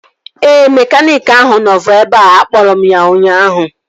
Ee, mekaniiki ahụ nọbu ebea. Akpọrọ m ya ụnyaahụ